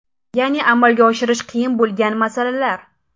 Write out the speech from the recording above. Ya’ni amalga oshirish qiyin bo‘lmagan masalalar.